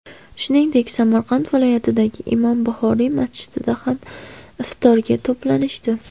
Shuningdek, Samarqand viloyatidagi Imom Buxoriy masjidida ham iftorga to‘planishdi.